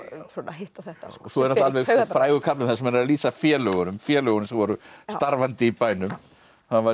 hitt og þetta svo er alveg alveg frægur kafli þar sem hann er að lýsa félögunum félögunum sem voru starfandi í bænum það var